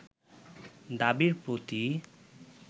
দাবির প্রতি